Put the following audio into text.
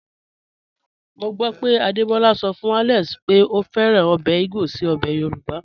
Mo gbọ pé Adebola sọ fun Alex pé o fẹ́ràn obè igbo sí obè Yorùbá.